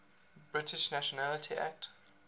british nationality act